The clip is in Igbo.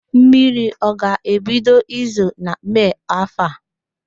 Mmiri ọ ga-ebido izo na Mee áfọ̀ a?